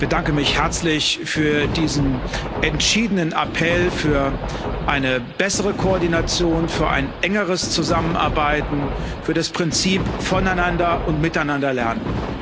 Ich bedanke mich herzlich für diesen entschiedenen Appell für eine bessere Koordination, für ein engeres Zusammenarbeiten, für das Prinzip Voneinander und Miteinander Lernen.